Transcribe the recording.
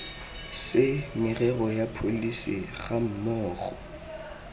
se merero ya pholesi gammogo